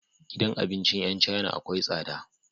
Gidan abincin yan china akwai tsada